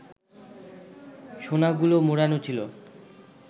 সোনাগুলো মোড়ানো ছিল